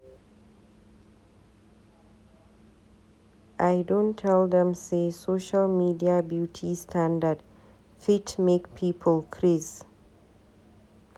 I don tel dem say social media beauty standard fit make people craze.